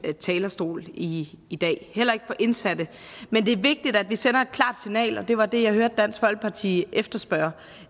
talerstol i i dag heller ikke for indsatte men det er vigtigt at vi sender et klart signal og det var det jeg hørte dansk folkeparti efterspørge